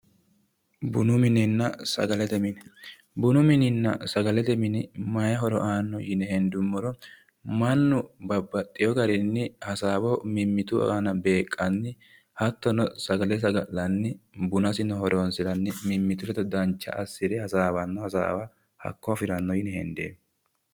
Bunu minenna sagalete mine, bunu mininna sagalete mini mayi horo aano yine hendumoro mannu babbaxeyo garinni hasaawa mimmittu aana beeqanni, hattonno sagale saga'lanni bunasinno horoonsiranni mimmittu ledo dancha assire hasaawanno hasaawa hakko afiranno yine hendeemmo.